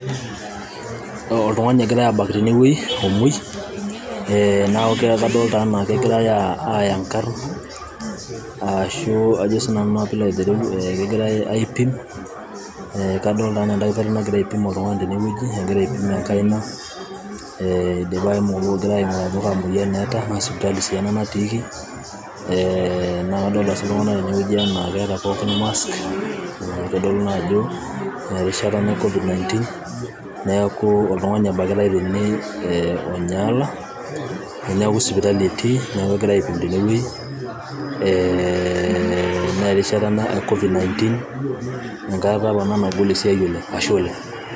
Oltung'ani egirai abak tenewei. Eh neeku kadolta enaa kegirai aaya nkarn ashu kajo sinanu naa pilo aitereu kegirai aipim, kadolta enaa edakitarii nagira aipim Oltung'ani tenewueji, egira aipim enkaina. Eh egirai aing'uraa ajo kaa moyain eeta. Na sipitali si ena natiiki. Eh na kadolta si iltung'anak tenewueji enaa keeta pookin masks ,naitodolu naa ajo erishata ena e Covid-19. Neeku Oltung'ani ebakitai tene, eh onyaala. Neeku sipitali etii. Neeku kegirai aipim tenewei. Eh na erishata ena e covid-19. Enkata apa ena nagolu esiai oleng'. Ashe oleng'.